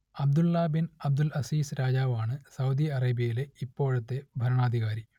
Abdulla bin Abdul Aziz രാജാവാണ് Saudi അറേബ്യയിലെ ഇപ്പോഴത്തെ ഭരണാധികാരി